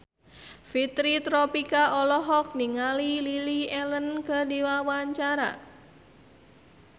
Fitri Tropika olohok ningali Lily Allen keur diwawancara